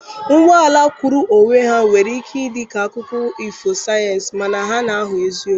Ụgbọ ala kwụụrụ onwe ya nwere ike ịdị ka akụkọ ifo sayensị, mana ha na-aghọ eziokwu.